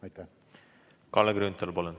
Kalle Grünthal, palun!